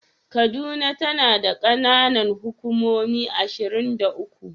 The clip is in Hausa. Kaduna tana da kananan hukumomi ashirin da uku.